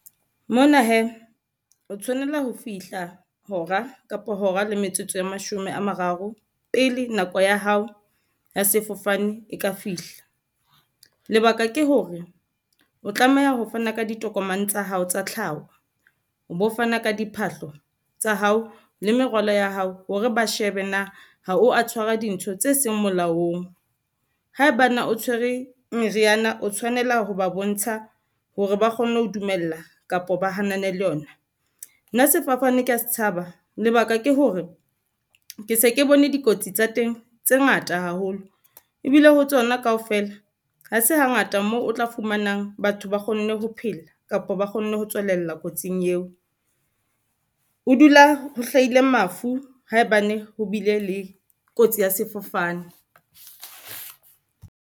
Mona hee o tshwanela ho fihla hora kapo hora le metsotso e mashome a mararo pele nako ya hao ya sefofane e ka fihla. Lebaka ke hore o tlameha ho fana ka ditokomane tsa hao tsa tlhaho, o bo fana ka diphahlo tsa hao le merwalo ya hao hore ba shebe na ha o a tshwara dintho tse seng molaong. Haebane o tshwere meriana o tshwanela ho ba bontsha hore ba kgone ho dumella kapa ba hanane le yona. Nna sefofane ke ya se tshaba lebaka ke hore, ke se ke bone dikotsi tsa teng tse ngata haholo ebile ho tsona kaofela ha se hangata mo o tla fumanang batho ba kgonne ho phela, kapa ba kgonne ho tswelella kotsing eo. Ho dula ho hlahile mafu haebane ho bile le kotsi ya sefofane.